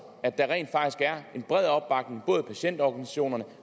at der rent faktisk er en bred opbakning både fra patientorganisationerne